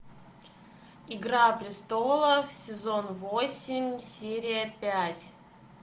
игра престолов сезон восемь серия пять